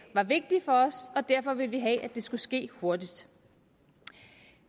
var vigtig for os og derfor ville vi have at det skulle ske hurtigt